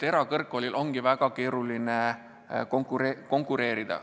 Erakõrgkoolil ongi väga keeruline konkureerida.